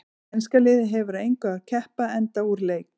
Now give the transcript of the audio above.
Enska liðið hefur að engu að keppa enda úr leik.